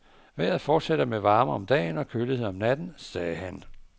Vejret fortsætter med varme om dagen og kølighed om natten, sagde han.